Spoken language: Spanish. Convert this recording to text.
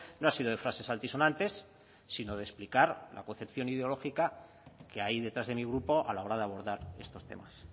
no ha sido de frases altisonantes sino de explicar la concepción ideológica que hay detrás de mi grupo a la hora de abordar estos temas